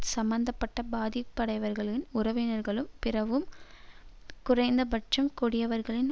சம்பந்த பட்ட பதிப்படைவர்களின் உறவினர்களும் பிறரும் குறைந்தபட்சம் கொடியவர்களில்